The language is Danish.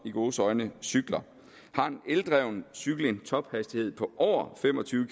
i gåseøjne cykler har en eldreven cykel en tophastighed på over fem og tyve